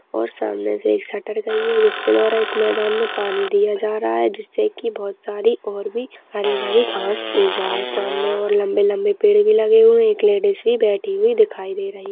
और सामने से एक शटर गई हुई है जिसके द्वारा इस मैदान मे पानी दिया जा रहा है जिसे की बहुत सारी और भी हरी भरी घास आस उगाये सामने और भी लंबे लंबे पेड़ भी लगे हुए है एक लेडीस भी बैठी हुई दिखाई दे रही है।